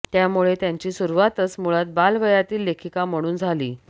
त्यामुळे त्यांची सुरूवातच मुळात बाल वयातील लेखीका म्हणून झाली